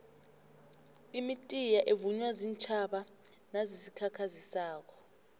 imitiya evunywa ziintjhaba nazizikhakhazisako